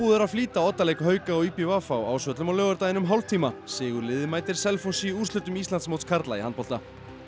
er að flýta oddaleik hauka og í b v á Ásvöllum á laugardaginn um hálftíma sigurliðið mætir Selfossi í úrslitum Íslandsmóts karla í handbolta